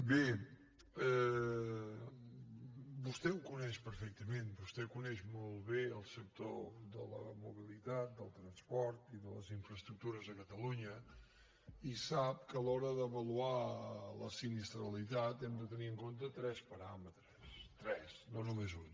bé vostè ho coneix perfectament vostè coneix molt bé el sector de la mobilitat del transport i de les infraestructures a catalunya i sap que a l’hora d’avaluar la sinistralitat hem de tenir en compte tres paràmetres tres no només un